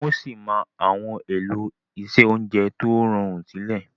Wọ sí má Àwọn elo iṣé oúnjẹ tíó rọrun sílè.